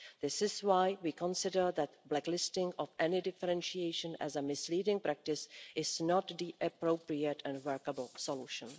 This is why we consider that blacklisting of any differentiation as a misleading practice is not the appropriate and workable solution.